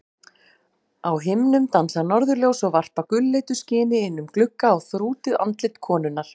Á himnum dansa norðurljós og varpa gulleitu skini inn um glugga á þrútið andlit konunnar.